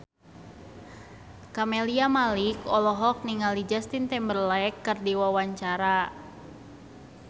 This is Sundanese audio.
Camelia Malik olohok ningali Justin Timberlake keur diwawancara